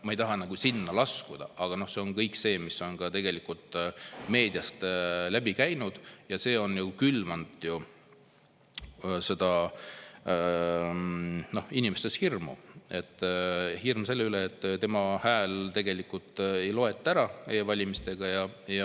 Ma ei taha sinna laskuda, aga see on tegelikult ka meediast läbi käinud ja külvanud inimestes hirmu, et nende häält tegelikult ära ei loeta ära.